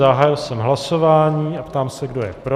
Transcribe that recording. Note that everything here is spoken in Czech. Zahájil jsem hlasování a ptám se, kdo je pro.